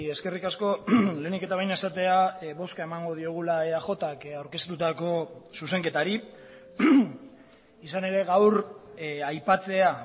eskerrik asko lehenik eta behin esatea bozka emango diogula eajk aurkeztutako zuzenketari izan ere gaur aipatzea